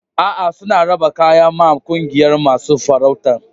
A'a, suna raba kayak ma ƙungiyan masun farautan.